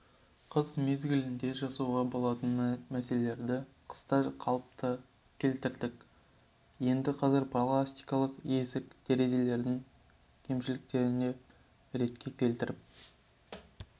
қыс мезгілінде жасауға болатын нәрселерді қыста қалыпқа келтірдік енді қазір пластикалық есік терезелердің кемшіліктерін ретке келтіріп